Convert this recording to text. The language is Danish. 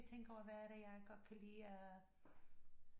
Tænke over hvad er det jeg godt kan lide af